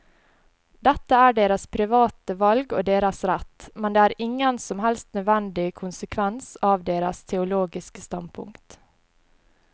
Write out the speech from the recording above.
Dette er deres private valg og deres rett, men det er ingen som helst nødvendig konsekvens av deres teologiske standpunkt.